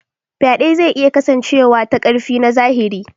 Faɗe zai iya kasancewa ta ƙarfi na zahiri.